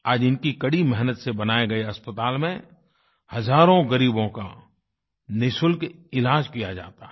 आज इनकी कड़ी मेहनत से बनाए गए अस्पताल में हजारों गरीबों का निशुल्क इलाज किया जाता है